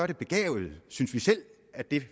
det begavet vi synes selv at de